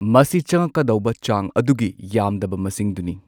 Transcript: ꯃꯁꯤ ꯆꯪꯉꯛꯀꯗꯧꯕ ꯆꯥꯡ ꯑꯗꯨꯒꯤ ꯌꯥꯝꯗꯕ ꯃꯁꯤꯡꯗꯨꯅꯤ꯫